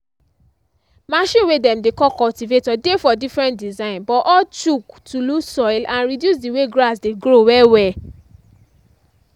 machine way dem dey call cultivator dey for different design but all chuck to lose soil and reduce the way grass dey grow well well.